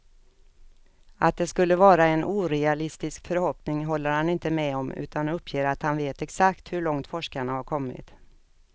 Att det skulle vara en orealistisk förhoppning håller han inte med om, utan uppger att han vet exakt hur långt forskarna har kommit.